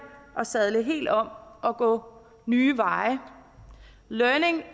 at sadle helt om og gå nye veje learning